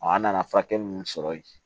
an nana furakɛli minnu sɔrɔ yen